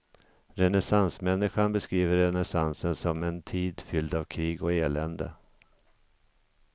Renässansmänniskan beskriver renässansen som en tid fylld av krig och elände.